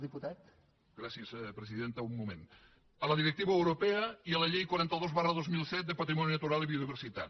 gràcies presidenta un moment amb la directiva europea i amb la llei quaranta dos dos mil set de patrimoni natural i biodiversitat